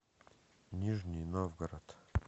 нижний новгород